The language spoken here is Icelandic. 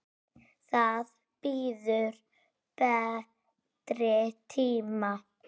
Það bíður betri tíma.